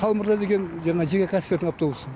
қалмырза деген жаңа жеке кәсіпкердің автобусы